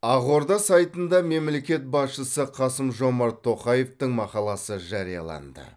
ақорда сайтында мемлекет басшысы қасым жомарт тоқаевтың мақаласы жарияланды